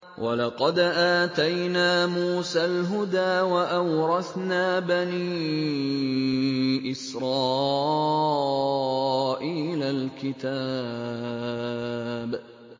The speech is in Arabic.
وَلَقَدْ آتَيْنَا مُوسَى الْهُدَىٰ وَأَوْرَثْنَا بَنِي إِسْرَائِيلَ الْكِتَابَ